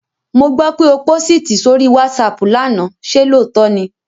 Mo gbó pé o pósìtì sórí WhatsApp lánàá, ṣe lóòótọ́ ni?